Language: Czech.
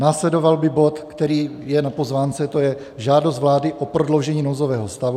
Následoval by bod, který je na pozvánce, to je žádost vlády o prodloužení nouzového stavu.